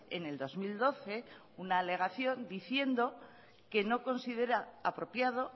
en el dos mil doce una alegación diciendo que no considera apropiado